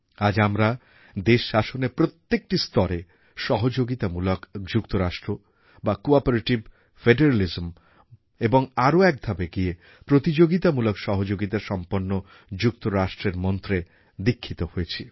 আজ আমরা দেশশাসনের প্রত্যেকটি স্তরে সহযোগিতামূলক যুক্তরাষ্ট্র বা কোঅপারেটিভ ফেডারালিজম এবং আরও একধাপ এগিয়ে প্রতিযোগিতামূলক সহযোগিতা সম্পন্ন যুক্তরাষ্ট্রের মন্ত্রে দীক্ষিত হয়েছি